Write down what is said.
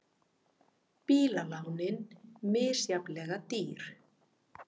Bílalánin misjafnlega dýr